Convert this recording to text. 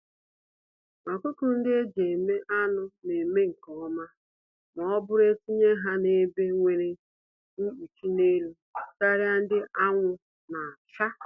Ọkụkọ-ndị-eji-eme-anụ neme nke ọma mọbụrụ netinye ha n'ebe nwere nkpuchi n'elu, karịa ndị anwụ nacha.